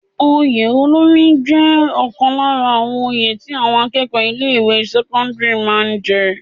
Oyè olórí àwọn jẹ́ ọ̀kan lára àwọn oyè tí àwọn akẹ́kọ̀ọ́ ilé ìwé sẹ́kọ́ńdírì máa ń jẹ.